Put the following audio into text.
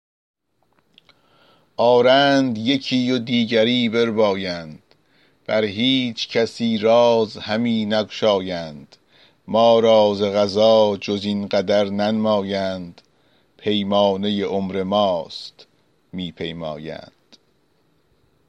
آرند یکی و دیگری بربایند بر هیچ کسی راز همی نگشایند ما را ز قضا جز این قدر ننمایند پیمانه عمر ماست می پیمایند